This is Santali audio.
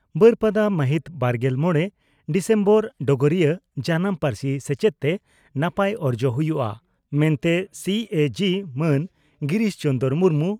ᱵᱟᱹᱨᱯᱟᱫᱟ ᱢᱟᱦᱤᱛ ᱵᱟᱨᱜᱮᱞ ᱢᱚᱲᱮ ᱰᱤᱥᱮᱢᱵᱚᱨ (ᱰᱚᱜᱚᱨᱤᱭᱟᱹ) ᱺ ᱡᱟᱱᱟᱢ ᱯᱟᱹᱨᱥᱤ ᱥᱮᱪᱮᱫ ᱛᱮ ᱱᱟᱯᱟᱭ ᱚᱨᱡᱚ ᱦᱩᱭᱩᱜᱼᱟ ᱢᱮᱱᱛᱮ ᱥᱤᱹᱮᱹᱡᱤᱹ ᱢᱟᱱ ᱜᱤᱨᱤᱥ ᱪᱚᱱᱫᱽᱨᱚ ᱢᱩᱨᱢᱩ